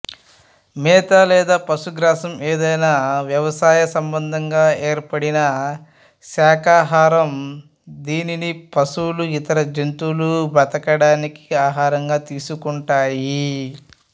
మేత లేదా పశుగ్రాసం ఏదైనా వ్యవసాయ సంబంధంగా ఏర్పడిన శాకాహారం దీనిని పశువులు ఇతర జంతువులు బ్రతకడానికి ఆహారంగా తీసుకుంటాయి